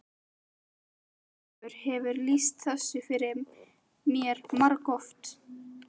Síra Ólafur hefur lýst þessu fyrir mér margoft.